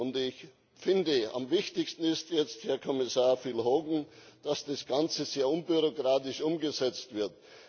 Und ich finde, am wichtigsten ist jetzt, Herr Kommissar Phil Hogan, dass das Ganze sehr unbürokratisch umgesetzt wird.